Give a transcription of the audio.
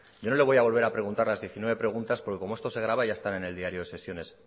yo no le voy a volver a preguntar las diecinueve preguntas porque como esto se graba ya está en el diario de sesiones